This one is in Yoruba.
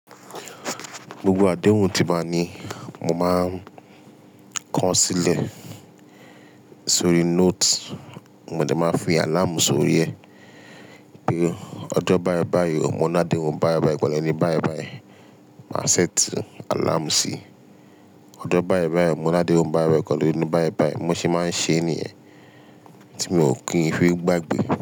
Gbogbo àdéhùn tí n bá ní, mó máa ko sílẹ sórí note, mo de máa fi àláàmù sórí ẹ. Bí ọjọ́ báìbàì mo ni adéhun báìbàì, pelu eni báìbàì. Màá ṣẹ́ẹ̀tì àláàmù síí. Ọjọ́ báìbàì mo náà déhun báìbàì, ìpàlẹ́ ni báìbàì. Bi mo sì máa ń ṣe é nìyẹn, tí mi ò kí n fi gbàgbé.